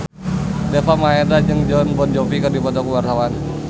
Deva Mahendra jeung Jon Bon Jovi keur dipoto ku wartawan